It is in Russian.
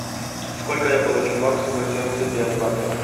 сколько я получу баксов за семьдесят пять баксов